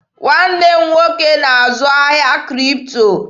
Nwanne m nwoke na-azụ ahịa Kripto.